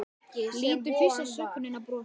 Lítum fyrst á sögnina brosa